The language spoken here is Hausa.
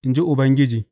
in ji Ubangiji.